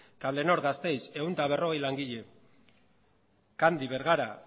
cablenor gasteiz ehun eta berrogei langile candy bergara